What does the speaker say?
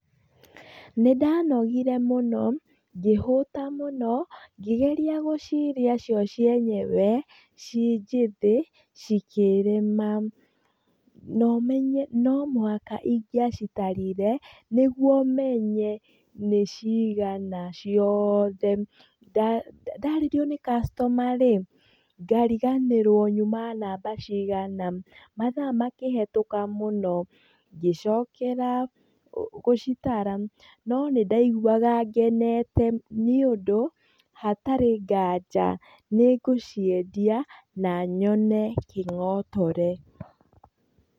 Nĩn danogire mũno, ngĩhũta mũno, ngĩgeria gũcirĩa cio cienyewe ciĩ njĩthĩ, cikĩrema. Na ũmenye nĩ omũhaka ingĩacitarire, nĩguo menye nĩcigana ciothe. Ndarĩrio nĩ customer rĩ, ngariganĩrwo nyuma namba cigana. Mathaa makĩhĩtũka mũno. Ngĩcokera gũcitara. No nĩ ndaiguaga ngenete nĩ ũndũ, hatarĩ ngaja, nĩ ngũciendia na nyone kĩng'otore.